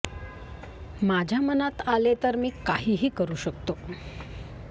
माझ्या मनात आले तर मी काहीही करू शकतो